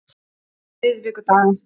miðvikudaga